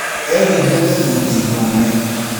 Eehumbĩte thuti ndune.